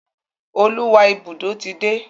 Oluwa Ibùdó tí dé.